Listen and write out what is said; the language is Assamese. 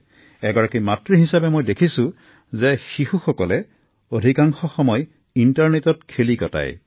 এগৰাকী মাতৃ হিচাপে মই দেখিছো যে শিশুসকলে অধিকাংশ সময় ইণ্টাৰনেটত খেলি কটায়